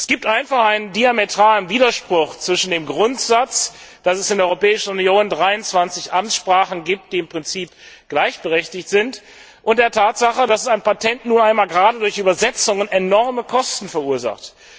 Es gibt einfach einen diametralen Widerspruch zwischen dem Grundsatz, dass es in der Europäischen Union 23 Amtssprachen gibt, die im Prinzip gleichberechtigt sind, und der Tatsache, dass ein Patent nun einmal gerade durch Übersetzungen enorme Kosten verursacht.